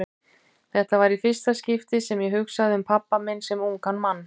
Þetta var í fyrsta skipti sem ég hugsaði um pabba minn sem ungan mann.